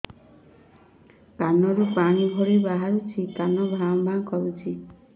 କାନ ରୁ ପାଣି ଭଳି ବାହାରୁଛି କାନ ଭାଁ ଭାଁ କରୁଛି